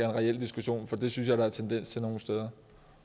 reel diskussion fordi det synes jeg der er tendens til nogle steder